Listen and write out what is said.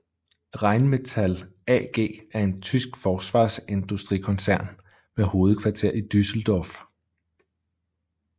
Rheinmetall AG er en tysk forsvarsindustrikoncern med hovedkvarter i Düsseldorf